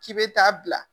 K'i bɛ taa bila